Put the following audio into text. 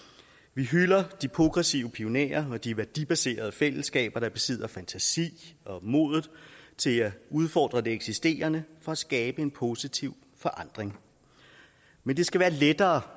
vi hylder de progressive pionerer og de værdibaserede fællesskaber der besidder fantasi og modet til at udfordre det eksisterende for at skabe en positiv forandring men det skal være lettere